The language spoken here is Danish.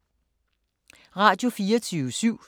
Radio24syv